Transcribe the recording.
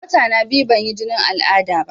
Wata na biyu ban yi jinin al'ada ba